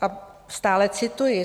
A stále cituji.